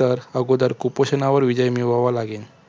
तर अगादर कुपोषणावर विजय मिळवावा लागेल.